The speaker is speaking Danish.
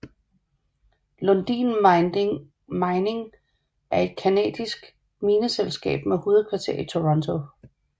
Lundin Mining er et canadisk mineselskab med hovedkvarter i Toronto